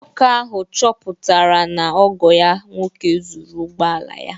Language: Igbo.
Nwoke ahụ chọpụtara na ọgọ ya nwoke zuru ụgbọ ala ya